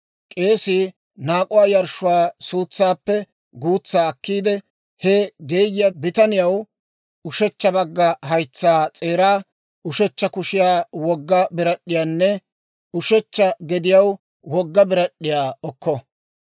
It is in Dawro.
K'eesii naak'uwaa yarshshuwaa suutsaappe guutsaa akkiide, he geeyiyaa bitaniyaw ushechcha bagga haytsaa s'eeraa, ushechcha kushiyaw wogga birad'd'iyaanne ushechcha gediyaw wogga birad'd'iyaa okko.